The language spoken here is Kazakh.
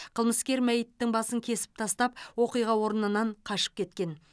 қылмыскер мәйіттің басын кесіп тастап оқиға орнынан қашып кеткен